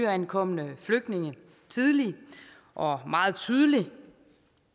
nyankomne flygtninge tidligt og meget tydeligt